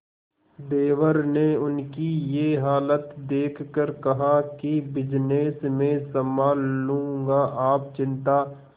देवर ने उनकी ये हालत देखकर कहा कि बिजनेस मैं संभाल लूंगा आप चिंता